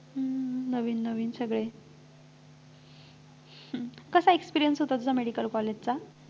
हम्म हम्म नवीन नवीन सगळे कसा experience होता तुझा medical college चा